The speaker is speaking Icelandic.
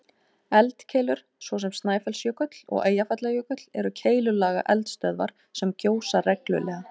Eldkeilur, svo sem Snæfellsjökull og Eyjafjallajökull, eru keilulaga eldstöðvar sem gjósa reglulega.